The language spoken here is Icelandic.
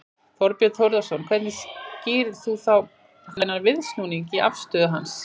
Þorbjörn Þórðarson: Hvernig skýrir þú þá þennan viðsnúning í afstöðu hans?